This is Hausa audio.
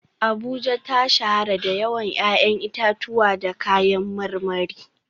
Abuja ta shahara da yawan 'ya'yan itatuwa da kayan marmari